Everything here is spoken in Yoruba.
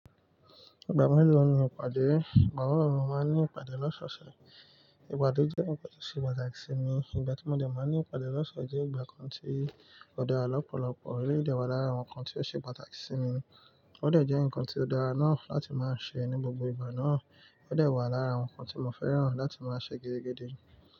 Ìgbà mélòó ni ìpàdé? Ìgbà mélòó ni mo máa ń ní ìpàdé lọ́sọ̀ọ̀sẹ̀? Ìpàdé jẹ́ ǹkan tó ṣe pàtàkì sí mi. Ìgbà tí mo dẹ̀ máa ń ní ìpàdé lọ́sọ̀ọ̀sẹ̀ jẹ́ ìgbà kan tí ó dára lọ́pọ̀lọpọ̀. Eleyii de wà lára àwọn nnkan tí ó ṣe pàtàkì sí mi. Ó dẹ̀ jẹ́ ǹkan tí ó dára náà láti máa ń ṣe ní gbogbo ìgbà náà. Ó dẹ̀ wà lára àwọn nnkan tí mo fẹ́ràn láti máa ṣe gedegede.